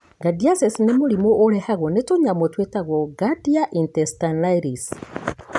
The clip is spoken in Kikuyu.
Giardiasis nĩ mũrimũ ũrehagwo nĩ tũnyamũ twĩtagwa Giardia intestinalis.